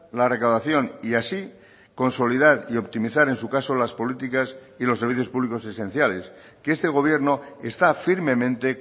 la recaudación y así consolidar y optimizar en su caso las políticas y los servicios públicos esenciales que este gobierno está firmemente